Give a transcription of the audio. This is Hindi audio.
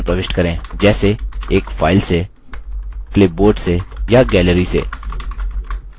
जैसे एक file से clipboard से या gallery से